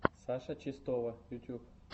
саша чистова ютуб